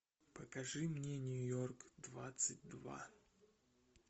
покажи мне нью йорк двадцать два